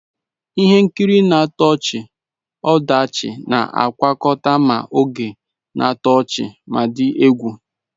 Ihe nkiri na-atọ ọchị-ọdachi na-agwakọta ma oge na-atọ ọchị ma dị egwu.